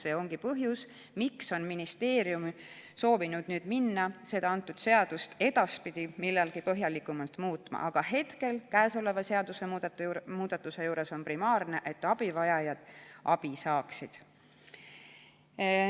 See ongi põhjus, miks soovib ministeerium nüüd edaspidi millalgi seda seadust põhjalikult muuta, aga praeguse seadusemuudatuse juures on primaarne, et abivajajad saaksid abi.